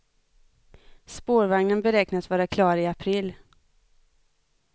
Spårvagnen beräknas vara klar i april.